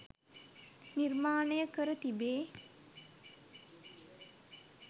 නිර්මාණය කර තිබේ.